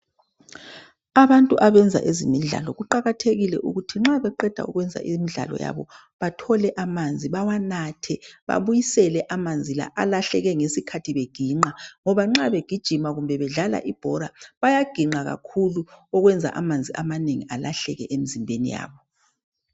Abantu abenza ezemidlalo kuqakathekile ukuthi bxa beqeda ukwenza imidlalo yabo bathole amanzi bawabathe babuyisele amanzi la alahleke ngesikhathi beginqa ngoba nxa begijima kumbe bedlala ibhora bayaginqa kakhulu okwenza amanzi amanengi alahleke emizimbeni yabo.